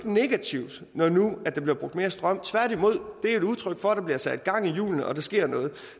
negativt når nu der bliver brugt mere strøm tværtimod det er et udtryk for at der bliver sat gang i hjulene og at der sker noget